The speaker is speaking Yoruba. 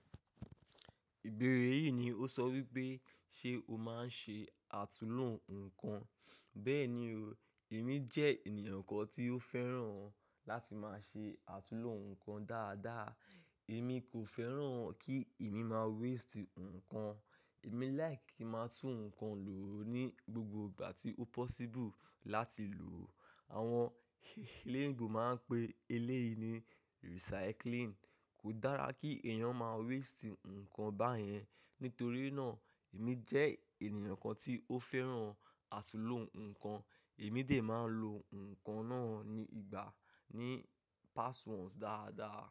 Ìbéèrè yìí ni ó sọ wípé ṣe o máa ń ṣe àtunlò ǹkan. Bẹ́ẹ̀ni o, èmi jẹ́ ènìyàn kan tí ó fẹ́ràn láti máa ṣe àtulò ǹkan dáadáa. Èmi kò fẹ́ràn kí èmi má waste ǹkan. Èmi like kí n máa tún ǹkan lò ní gbogbo ìgbà tí ó possible láti lò. Àwọn eléèbò máa ń pe eléyìí ni recycling. Kò dára kí èèyàn má waste ǹkan báyẹn. Nítorí náà, èmi jẹ́ ènìyàn kan tí ó fẹ́ràn àtunlò ǹkan. Èmi dè máa ń lo ǹkan náà ní ìgbà ní past ones dáadáa.